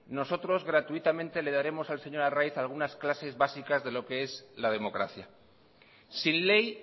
nosotros gratuitamente le daremos al señor arraiz algunas clases básica de lo qué es la democracia sin ley